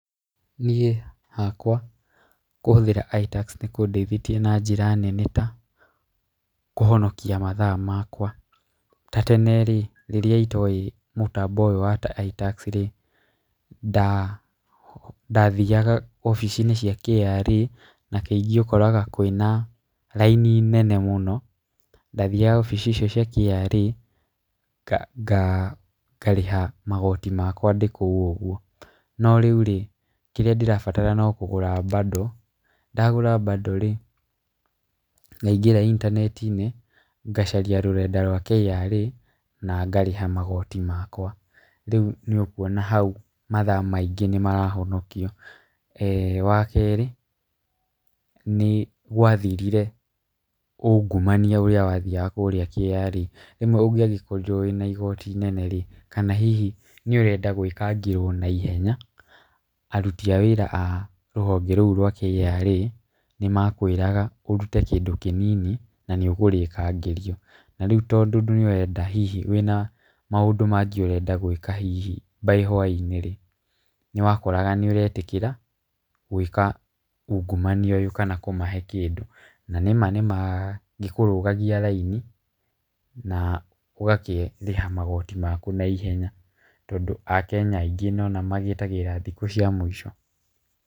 Niĩ hakwa kũhũthĩra iTax nĩ kũndeithĩtie na njĩra nene ta kũhonokia mathaa makwa. Ta tene rĩ, rĩrĩa itoĩ mũtambo ũyũ wa iTax rĩ, ndathiaga wabici-inĩ cia KRA na kaingĩ ũkoraga kwĩna raini nene mũno. Ndathiaga wabici icio cia KRA ngarĩha magoti makwa ndĩ kũu ũguo. No rĩu rĩ kĩrĩa ndĩrabatara no kũgũra bundle ndagũra bundle rĩ, ngaingĩra intaneti-inĩ ngacaria rũrenda rwa KRA na ngarĩha magoti makwa. Rĩu nĩ ũkuona hau mathaa maingĩ nĩ marahonokio. Wa kerĩ nĩ gwathirire ungumania ũrĩa wathiaga kũrĩa KRA. Rĩmwe ũngĩagĩkorirwo wĩna igoti inene kana hihi nĩ ũrenda gwĩkangĩrwo naihenya, aruti a wĩra a rũhonge rũu rwa KRA nĩ makwĩraga ũrute kĩndũ kĩnini na nĩ ũkũrĩkangĩrio. Na rĩu tondũ nĩ ũrenda hihi wĩna maũndũ mangĩ ũrenda gwĩka hihi by hwai-inĩ nĩ wakoraga nĩ ũretĩkĩra gwĩka ungumania ũyũ kana kũmahe kĩndũ. Na nĩ ma nĩ magĩkũrũgagia raini na ũgakĩrĩha magoti maku naihenya. Tondũ akenya aingĩ nĩ wona magĩetagĩrĩra thikũ cia mũico.